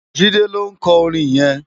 Jide ló nkò órin yèn